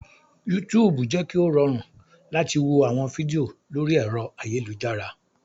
Yútùùbù jẹ́ kí ó rọrùn láti wo àwọn fídíò lórí ẹ̀rọ ayélujára